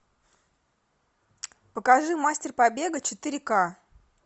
покажи мастер побега четыре ка